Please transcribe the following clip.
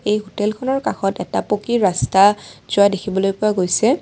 এই হোটেলখনৰ কাষত এটা পকী ৰাস্তা যোৱা দেখিবলৈ পোৱা গৈছে।